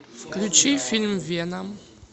включи фильм веном